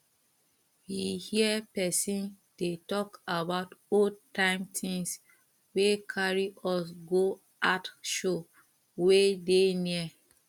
we hear person dey talk about old time things wey carry us go art show wey dey near